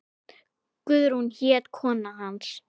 Guðrún hét kona hans.